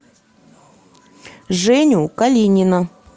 женю калинина